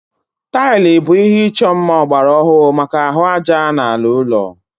Taịlị bụ ihé ịchọ mma ọgbara ọhụrụ maka ahụ ájá na ala ụlọ